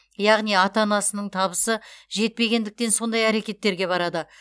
яғни ата анасының табысы жетпегендіктен сондай әрекеттерге барады